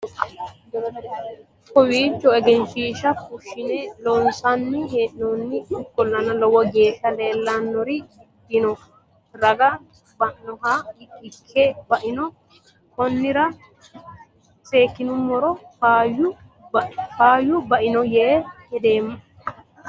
kawiicho egenshshiisha fushshine loonsanni hee'noonni ikkollana lowo geeshsha leellannori dino raga bainohha ikke baino konnira seekkinoommero faayyu baino yee hedeemmo